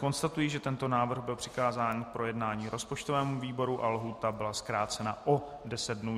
Konstatuji, že tento návrh byl přikázán k projednání rozpočtovému výboru a lhůta byla zkrácena o deset dnů.